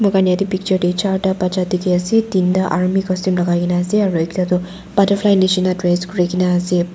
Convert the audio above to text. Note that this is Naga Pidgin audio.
muan yete picture deh charta baccha dikhi asey tinta army costume lagai gina asey aro ekta du butterfly nishi na dress kuri gina asey.